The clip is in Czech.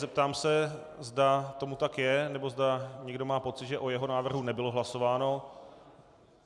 Zeptám se, zda tomu tak je, nebo zda někdo má pocit, že o jeho návrhu nebylo hlasováno.